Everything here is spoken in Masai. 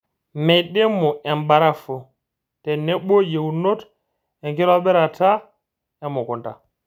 Meidimu embarafu tenebo yieunot enkitobirata emukunta.